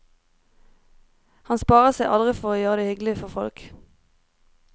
Han sparer seg aldri for å gjøre det hyggelig for folk.